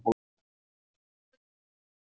Bíbí, hvar er dótið mitt?